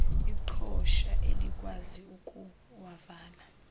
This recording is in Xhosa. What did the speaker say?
iqhosha elikwazi ukuwavala